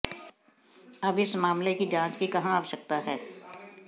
अब इस मामले की जांच की कहां आवश्यकता है